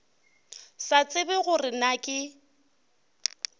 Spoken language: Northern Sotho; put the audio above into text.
sa tsebe gore na ke